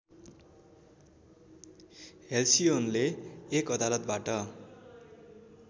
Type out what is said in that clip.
हेल्सिओनले एक अदालतबाट